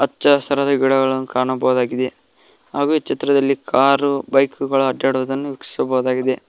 ಹಚ್ಚ ಹಸಿರಾದ ಗಿಡಗಳನ್ನು ಕಾಣಬಹುದಾಗಿದೆ ಹಾಗೂ ಈ ಚಿತ್ರದಲ್ಲಿ ಕಾರ್ ಬೈಕ್ ಗಳ ಅಡ್ಡಾಡುವುದನ್ನು ವೀಕ್ಷಿಸಬಹುದಾಗಿದೆ.